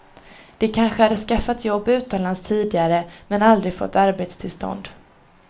De kanske hade skaffat jobb utomlands tidigare men aldrig fått arbetstillstånd.